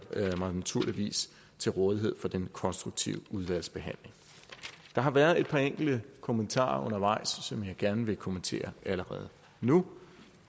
mig naturligvis til rådighed for den konstruktive udvalgsbehandling der har været et par enkelte kommentarer undervejs som jeg gerne vil kommentere allerede nu